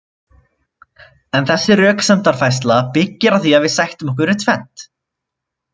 En þessi röksemdafærsla byggir á því að við sættum okkur við tvennt.